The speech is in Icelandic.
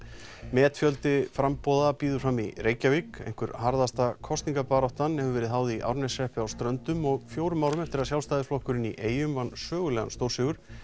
metfjöldi framboða býður fram í Reykjavík einhver harðasta kosningabaráttan hefur verið háð í Árneshreppi á Ströndum og fjórum árum eftir að Sjálfstæðisflokkurinn í eyjum vann sögulegan stórsigur